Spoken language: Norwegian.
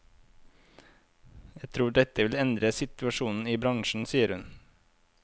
Jeg tror dette vil endre situasjonen i bransjen, sier hun.